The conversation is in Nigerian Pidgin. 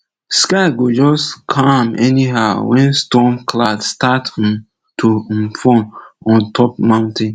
sky go just calm anyhow when storm cloud start um to um form on top mountain